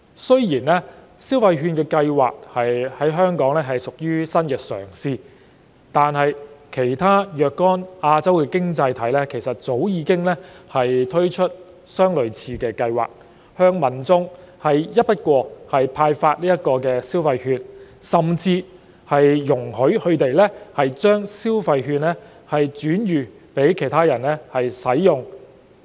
雖然消費券計劃在香港屬新嘗試，但其他若干亞洲經濟體早已推出類似計劃，向民眾一筆過派發消費券，甚至容許他們將消費券轉予他人使用。